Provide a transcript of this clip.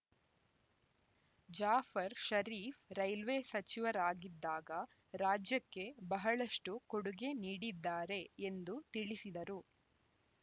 Jafar Sharief railway ಸಚಿವರಾಗಿದ್ದಾಗ ರಾಜ್ಯಕ್ಕೆ ಬಹಳಷ್ಟುಕೊಡುಗೆ ನೀಡಿದ್ದಾರೆ ಎಂದು ತಿಳಿಸಿದರು